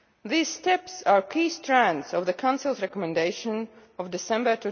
These steps are key strands of the Council's recommendation of December